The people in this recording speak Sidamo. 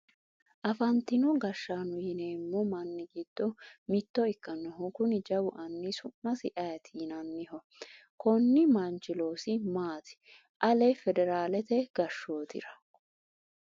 afantino gashshaano yineemmo manni giddo mitto ikkinohu kuni jawu anni su'masi ayeeti yinanniho? konni manchi loosi maati ale federaalete gashshootira?